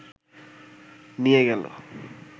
নিয়ে গেল